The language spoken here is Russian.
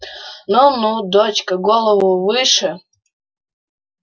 ну ну дочка голову выше